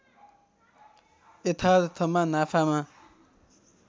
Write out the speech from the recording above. यथार्थमा नाफामा